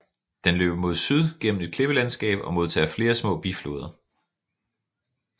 Den løber mod syd gennem et klippelandskab og modtager flere små bifloder